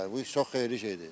Bu çox xeyirli şeydir.